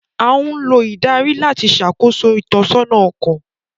A ńlo idari lati ṣakoso itọsọna ọkọ